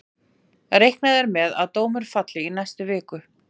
Reiknað er með að dómur falli í næstu viku.